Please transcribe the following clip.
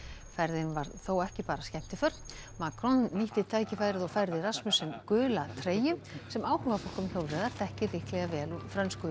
ferðin var þó ekki bara skemmtiför Macron nýtti tækifærið og færði Rasmussen gula treyju sem áhugafólk um hjólreiðar þekkir líklega vel úr frönsku